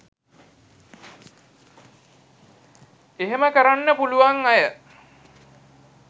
එහෙම කරන්න පුලුවන් අය